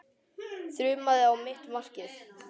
Þrumaði á mitt markið.